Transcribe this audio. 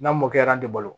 N'a mɔkɛra an tɛ balo